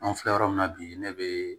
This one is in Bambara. An filɛ yɔrɔ min na bi ne bɛ